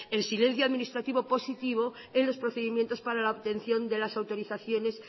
el silencio administrativo positivo en los procedimientos para la obtención de las autorizaciones